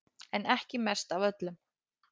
En ekki mest af öllum